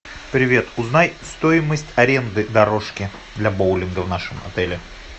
привет узнай стоимость аренды дорожки для боулинга в нашем отеле